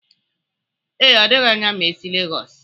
Ee, ọ dịghi anya ma esi Legọs.